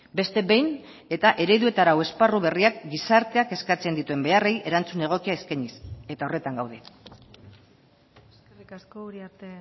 beste behin eta eredu eta arau esparru berriak gizarteak eskatzen dituen beharrei erantzun egokia eskainiz eta horretan gaude eskerrik asko uriarte